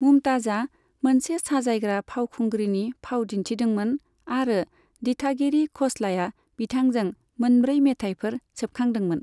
मुमताजआ मोनसे साजायग्रा फावखुंग्रिनि फाव दिन्थिदोंमोन आरो दिथागिरि ख'स्लाया बिथांजों मोनब्रै मेथाइफोर सेबखांदोंमोन।